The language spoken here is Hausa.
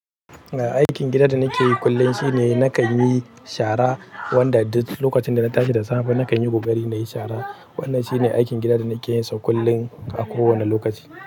Ai aikin gida da na ke yi kullum shine na kan yi shara, wanda duk lokacin da na tashi da tsafe nakan yi ƙokari na yi shara. Wannan shine aikin gida da nake yin sau kullum a kowane lokaci.